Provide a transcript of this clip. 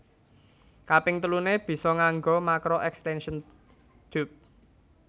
Kaping teluné bisa nganggo makro extention tube